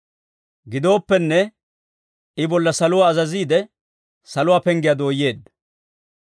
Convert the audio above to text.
Gidooppenne, I bolla saluwaa azaziide, saluwaa penggiyaa dooyeedda.